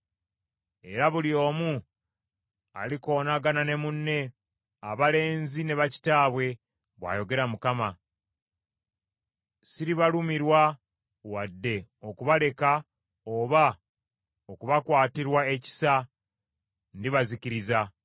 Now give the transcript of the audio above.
Era buli omu alikoonagana ne munne, abalenzi ne bakitaabwe, bw’ayogera Mukama . Siribalumirwa, wadde okubaleka oba okubakwatirwa ekisa, ndibazikiriza.’ ”